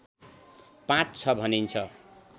पाँच छ भनिन्छ